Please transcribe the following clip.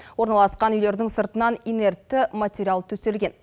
орналасқан үйлердің сыртынан инертті материал төселген